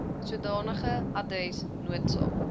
sodanige adres noodsaak